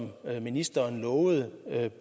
ministeren lovede